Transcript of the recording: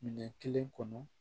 Minɛn kelen kɔnɔ